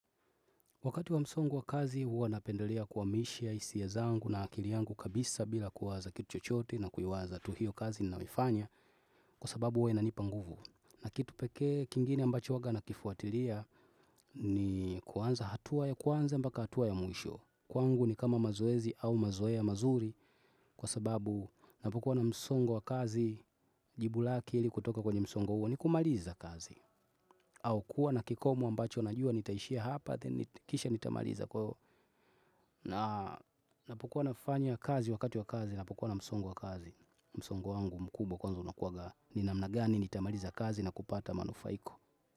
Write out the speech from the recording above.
Wakati wa msongo wa kazi huwa napendelea kuamisha hisia zangu na akili yangu kabisa bila kuwaza kitu chochote na kuiwaza tu hiyo kazi naiofanya kwa sababu huwa inanipa nguvu. Na kitu pekee kingine ambacho huwaga nakifuatilia ni kuanza hatua ya kwanza mbaka hatua ya mwisho. Kwangu ni kama mazoezi au mazoea mazuri kwa sababu napokuwa na msongo wa kazi jibu lake ili kutoka kwenye msongo huo ni kumaliza kazi. Au kuwa na kikomo ambacho najua nitaishia hapa then kisha nitamaliza kwa napokuwa nafanya kazi wakati wa kazi napokuwa na msongo wa kazi msongo wangu mkubwa kwanza unakuwaga ni namna gani nitamaliza kazi na kupata manufaiko.